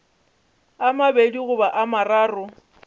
a mabedi goba a mararo